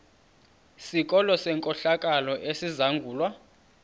sikolo senkohlakalo esizangulwa